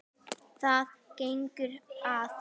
Hvað gengur að?